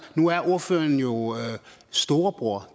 nu er ordføreren jo storebror